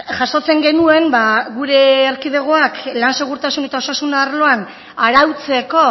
jasotzen genuen gure erkidegoak lan segurtasun eta osasun arloan arautzeko